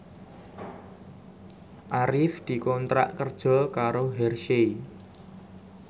Arif dikontrak kerja karo Hershey